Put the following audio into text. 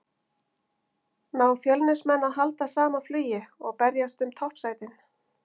Ná Fjölnismenn að halda sama flugi og berjast um toppsætin?